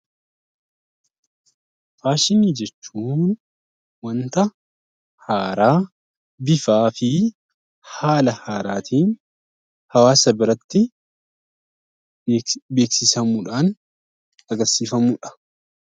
Faashinii jechuun wanta haaraa bifaa fi haala haaraatiin hawwaasa biratti beeksifamuudhaan kan agarsiifamuudha.